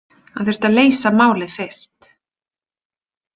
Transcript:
Hann þurfti að leysa málið fyrst.